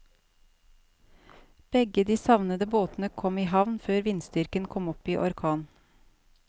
Begge de savnede båtene kom i havn før vindstyrken kom opp i orkan.